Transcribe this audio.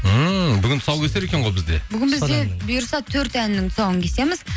ммм бүгін тұсаукесер екен ғой бізде бүгін бізде бұйырса төрт әннің тұсауын кесеміз